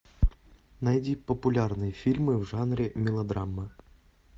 найди популярные фильмы в жанре мелодрама